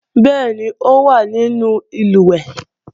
Bẹ́ẹ̀ni, ó wá nínú ìlùwẹ̀ẹ̀